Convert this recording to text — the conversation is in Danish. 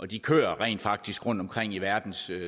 de kører rent faktisk rundtomkring i verdens